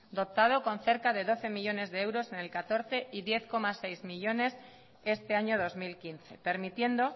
dotado con cerca de doce millónes de euros en el catorce y diez coma seis millónes este año dos mil quince permitiendo